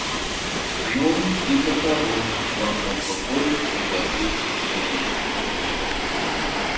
ну типа того махнув рукой согласился сергей